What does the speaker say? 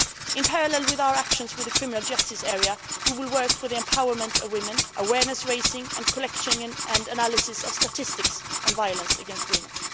In parallel with our actions in the criminal justice area, we will work for the empowerment of women, awareness raising and the collection and analysis of statistics on violence against women.